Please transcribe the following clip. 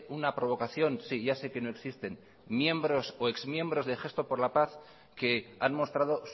una provocación sí ya sé que no existen miembros o exmiembros de gesto por la paz que han mostrado